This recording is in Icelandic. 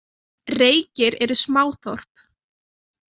Reykir eru smáþorp.